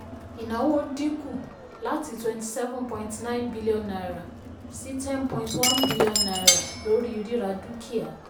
ìnáwó dínkù láti twenty seven point nine billion naira sí ten point one billion naira lórí rírà dúkìá.